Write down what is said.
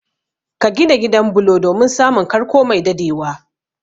Ka gina gidan bulo domin samun karko mai dadewa